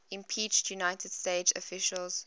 impeached united states officials